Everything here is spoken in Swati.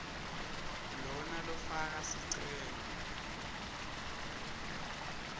lona lofaka sicelo